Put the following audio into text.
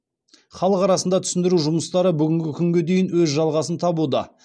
халық арасында түсіндіру жұмыстары бүгінгі күнге дейін өз жалғасын табуда